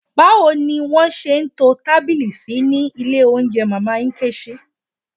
Báwo ni wọ́n ṣe to tábìlì sí ní ilé oúnjẹ Mama Nkechi?